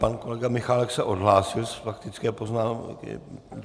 Pan kolega Michálek se odhlásil z faktické poznámky.